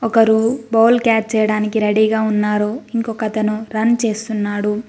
ఒకరు ball catch చేయడానికి రెడీగా ఉన్నారు ఇంకొకతను రన్ చేస్తున్నాడు.